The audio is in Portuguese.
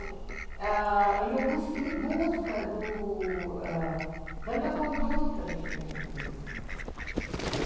E em busca da minha conduta dentro da empresa.